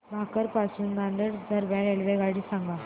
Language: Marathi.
भोकर पासून नांदेड दरम्यान रेल्वेगाडी सांगा